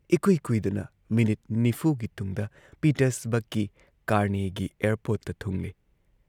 ꯢꯀꯨꯏ ꯀꯨꯏꯗꯅ ꯃꯤꯅꯤꯠ ꯅꯤꯐꯨꯒꯤ ꯇꯨꯡꯗ ꯄꯤꯇꯔꯁꯕꯔꯒꯀꯤ ꯀꯥꯔꯅꯦꯒꯤ ꯑꯦꯌꯔꯄꯣꯔꯠꯇ ꯊꯨꯡꯂꯦ ꯫